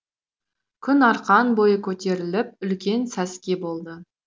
күн арқан бойы көтеріліп үлкен сәске болды